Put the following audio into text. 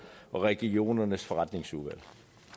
og regionernes forretningsudvalg